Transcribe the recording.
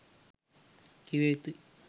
කිව යුතුයි.